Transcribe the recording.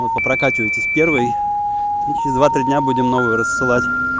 вот по прокачивайтесь первый и через два три дня будем новцю рассылать